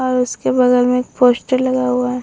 और उसके बगल में एक पोस्टर लगा हुआ है |